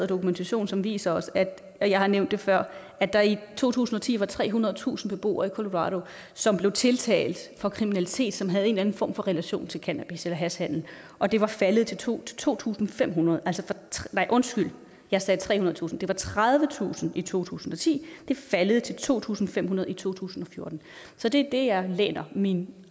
dokumentation som viser os og jeg har nævnt det før at der i to tusind og ti var trehundredetusind beboere i colorado som blev tiltalt for kriminalitet som havde en eller anden form for relation til cannabis eller hashhandel og det var faldet til to til to tusind fem hundrede nej undskyld jeg sagde trehundredetusind det var tredivetusind i to tusind og ti det er faldet til to tusind fem hundrede i to tusind og fjorten så det er det jeg læner mine